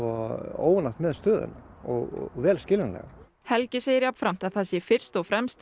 óánægt með stöðuna og vel skiljanlega helgi segir jafnframt að það sé fyrst og fremst